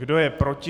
Kdo je proti?